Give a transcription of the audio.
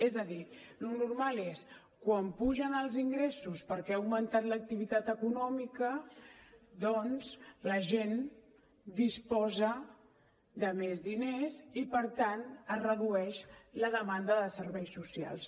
és a dir el normal és quan pugen els ingressos perquè ha augmentat l’activitat econòmica doncs la gent disposa de més diners i per tant es redueix la demanda de serveis socials